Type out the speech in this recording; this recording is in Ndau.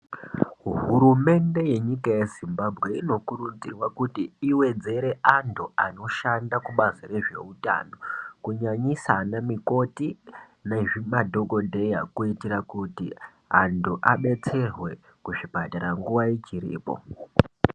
Hurumende yenyika yeZimbabwe inokurudzirwa kuti iwedzere antu anoshanda kubazi rezveutano kunyanyisa ana mikoti nemadhokodheya kuitira kuti antu abetserwe kuzvipatara nguwa ichiripo.